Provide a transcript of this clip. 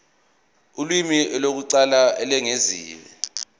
ulimi lokuqala olwengeziwe